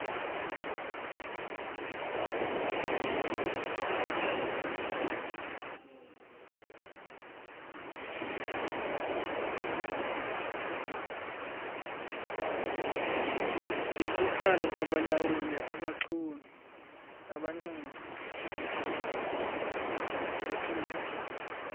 ngenkuthalo kwabalawuli abanxumi